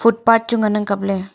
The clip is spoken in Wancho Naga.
mihpa chu ngan ang kap ley.